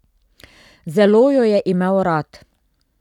Zelo jo je imel rad.